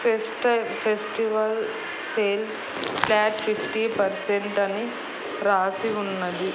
Pest టై festival sale flat fifty percent అని రాసి ఉన్నది.